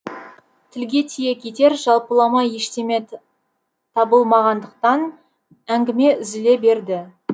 тілге тиек етер жалпылама ештеме табылмағандықтан әңгіме үзіле берді